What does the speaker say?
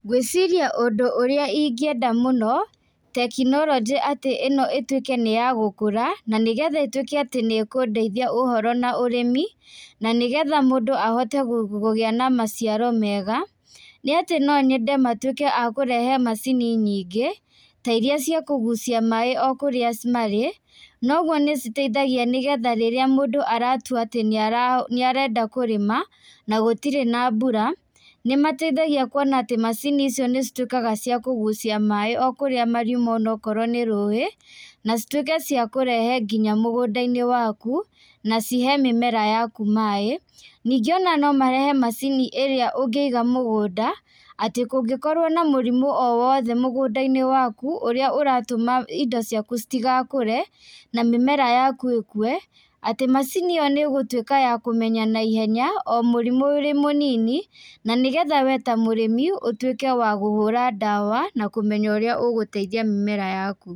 Ngwĩciria ũndũ ũrĩa ingĩenda mũno, tekinoronjĩ atĩ ĩno ĩtuĩke nĩyagũkũra na nĩgetha ĩtũĩke atĩ nĩkũndeithia ũhoro na ũrĩmi na nĩgetha mũndũ ahote gũgĩa na maciaro mega nĩ atĩ noo nyende matũĩke a kũrehe macini nyingĩ ta iria cia kũgucia maaĩ o kũrĩa marĩ noguo nĩciteithagia nĩgetha rĩrĩa mũndũ aratua atĩ nĩ arenda kũrĩma na gũtirĩ na mbura, nĩmateithagia kuona atĩ macini icio nĩ cituĩkaga nĩcia kũgũcia maaĩ o kũrĩa mariuma onakorwo nĩ rũĩ, na cituĩkaga cia kũrehe nginya mũgũnda-inĩ waku na cihe mĩmera yaku maaĩ. Ningĩ ona no marehe macini ĩrĩa ũngĩiga mũgũnda atĩ kũngĩkorwo na mũrimũ o wothe mũgũnda-inĩ waku ũrĩa ũratũma indo ciaku citigakũre na mĩmera yaku ĩkue atĩ macini ĩyo nĩgũtũika ya kũmenya naihenya o mũrimũ ũrĩ mũnini na nĩgetha wee ta mũrĩmi ũtuĩke wa gũhũra ndawa na kũmenya ũrĩa ũgũteithia mĩmera yaku.